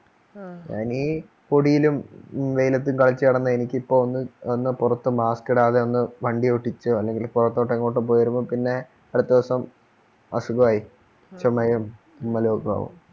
ഞാനീ പൊടിയിലും വെയിലത്തും കളിച്ചു നടന്ന എനിക്കിപ്പോ ഒന്ന് ഒന്ന് പുറത്ത് mask ഇടാതെ ഒന്ന് വണ്ടിയോടിച്ചോ അല്ലെങ്കിൽ പുരത്തോടോ എങ്ങോട്ടോ പോയിവരുമ്പോൾ പിന്നെ അടുത്ത ദിവസം അസുഖമായി ചുമയും തുമ്മലും ഒക്കെ ആവും